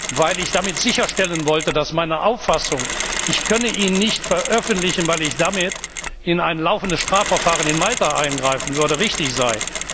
Ich wollte damit sicherstellen, dass meine Auffassung, ich könne ihn nicht veröffentlichen, weil ich damit in ein laufendes Strafverfahren in Malta eingreifen würde, richtig sei.